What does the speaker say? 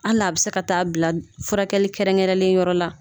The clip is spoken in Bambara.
Hali a bɛ se ka taa bila furakɛli kɛrɛnkɛrɛnnen yɔrɔ la